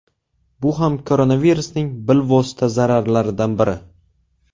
Bu ham koronavirusning bilvosita zararlaridan biri.